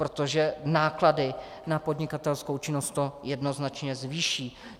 Protože náklady na podnikatelskou činnost to jednoznačně zvýší.